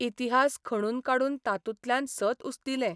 इतिहास खणून काडून तातूंतल्यान सत उस्तिलें.